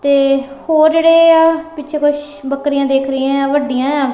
ਤੇ ਹੋਰ ਜਿਹੜੇ ਆ ਪਿੱਛੇ ਕੁਛ ਬੱਕਰੀਆਂ ਦਿਖ ਰਹੀਆਂ ਵੱਡੀਆਂ ਆ।